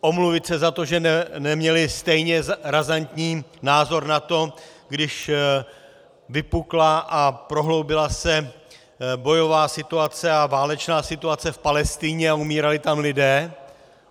Omluvit se za to, že neměli stejně razantní názor na to, když vypukla a prohloubila se bojová situace a válečná situace v Palestině a umírali tam lidé.